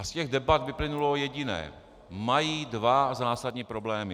A z těch debat vyplynulo jediné - mají dva zásadní problémy.